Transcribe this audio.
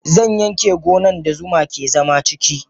Zanyanke gonan da zuma ke zama ciki.